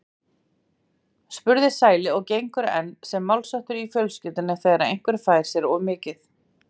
spurði Sæli og gengur enn sem málsháttur í fjölskyldunni þegar einhver fær sér of mikið.